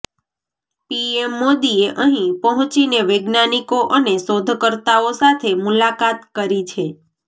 PM મોદીએ અહીં પહોંચીને વૈજ્ઞાનિકો અને શોધકર્તાઓ સાથે મુલાકાત કરી છે